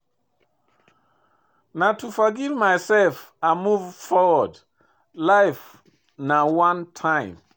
Na to forgive my self and move forward, life na one time.